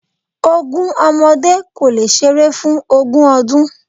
Ogún ọmọdé kò lè seré fún ogún ọdún